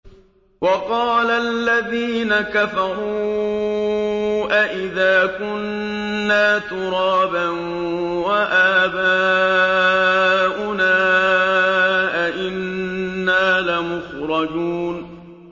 وَقَالَ الَّذِينَ كَفَرُوا أَإِذَا كُنَّا تُرَابًا وَآبَاؤُنَا أَئِنَّا لَمُخْرَجُونَ